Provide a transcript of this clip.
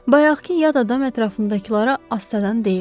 Bayaqkı yad adam ətrafındakılara astadan deyirdi.